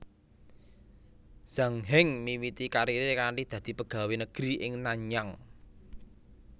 Zhang Heng miwiti kariré kanthi dadi pegawé negri ing Nanyang